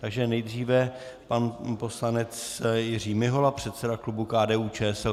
Takže nejdříve pan poslanec Jiří Mihola, předseda klubu KDU-ČSL.